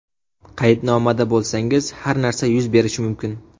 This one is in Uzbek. Qaydnomada bo‘lsangiz, har narsa yuz berishi mumkin.